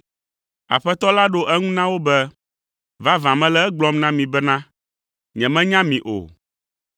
“Aƒetɔ la ɖo eŋu na wo be, ‘Vavã mele egblɔm na mi bena, nyemenya mi o!’